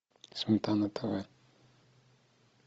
сметана тв